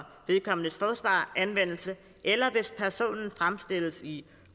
vedkommendes forsvar anvendelse eller hvis personen fremstilles i